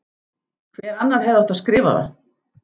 Hver annar hefði átt að skrifa það?